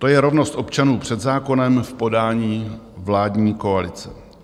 To je rovnost občanů před zákonem v podání vládní koalice.